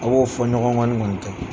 A b'o fɔnɲɔgɔnkɔni kɔni kɛ.